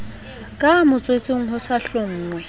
ka motswetseng ho sa hlonngwe